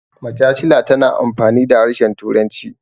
majasila tana amfani da harshen turanci